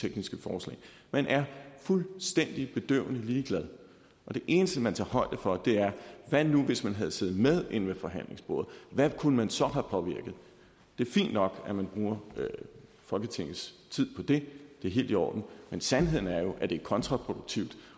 tekniske forslag man er fuldstændig bedøvende ligeglad og det eneste man tager højde for er hvad nu hvis man havde siddet med inde ved forhandlingsbordet hvad kunne man så have påvirket det er fint nok at man bruger folketingets tid på det det er helt i orden men sandheden er jo at det er kontraproduktivt